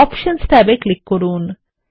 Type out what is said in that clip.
options ট্যাবে click করুন